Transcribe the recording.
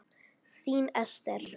Þín Ester.